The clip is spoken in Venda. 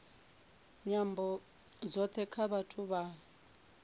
nyambo dzothe dza vhathu vha